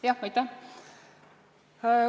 Aitäh!